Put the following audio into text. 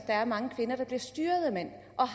er mange kvinder der bliver styret af mænd og